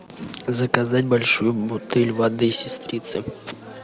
заказать большую бутыль воды сестрица